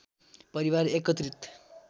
परिवार एकत्रित